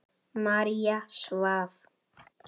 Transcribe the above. María svaf.